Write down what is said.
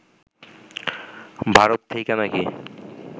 ভারত থেইকা নাকি